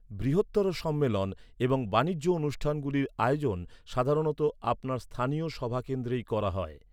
বৃহত্তর সম্মেলন এবং বাণিজ্য অণুষ্ঠানগুলির আয়োজন সাধারণত আপনার স্থানীয় সভা কেন্দ্রেই করা হয়।